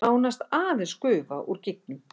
Nánast aðeins gufa úr gígnum